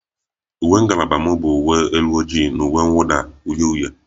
Uwe ngalaba m nụ uwe elu ojii na uwe mwuda uhie uhie